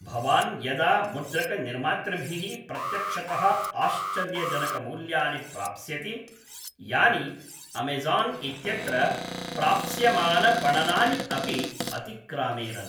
भवान् यदा मुद्रकनिर्मातृभिः प्रत्यक्षतः आश्चर्यजनकमूल्यानि प्राप्स्यति यानि अमेज़ान् इत्यत्र प्राप्स्यमानपणनानि अपि अतिक्रामेरन्।